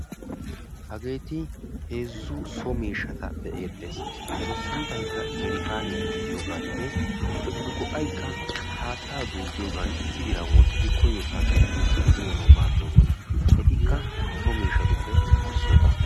Hageeti heezzu so miishshata be'eettes. etu sunttaykka jarkkaaniyaa gidiyooganinne etu go"ayikka haattaa duuqqiyoogan issi diran wottidi koyyiyoo saatiyaan duuqqidi uyanawu maaddoosona. etikka so miishshatuppe isssota.